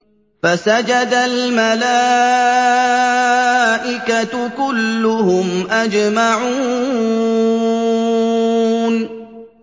فَسَجَدَ الْمَلَائِكَةُ كُلُّهُمْ أَجْمَعُونَ